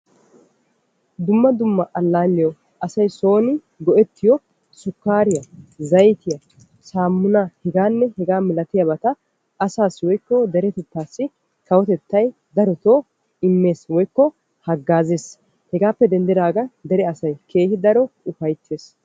Dumma dumma alaalliyawu asay son go'ettiyo sukariya, zayttiyanne harabatta kawotettay asaassi imees. Hegaappe denddagan asay keehippe ufayttees.